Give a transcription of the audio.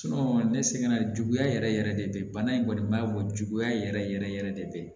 ne sɛgɛnna juguya yɛrɛ yɛrɛ de bana in kɔni ma bɔ juguya yɛrɛ yɛrɛ yɛrɛ yɛrɛ de